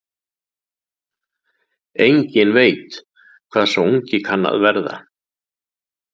Enginn veit hvað sá ungi kann að verða.